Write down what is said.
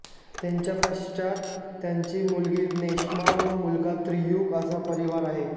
त्यांच्या पश्चात त्यांची मुलगी नेश्मा व मुलगा त्रियुग असा परिवार आहे